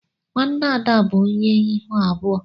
Nwanne Ada bụ onye ihu abụọ.